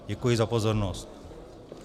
Děkuji za pozornost.